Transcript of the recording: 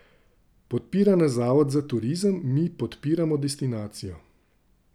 Podpira nas Zavod za turizem, mi podpiramo destinacijo.